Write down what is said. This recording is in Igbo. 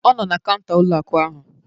Ọ nọ na kaụnta ụlọ akụ ahụ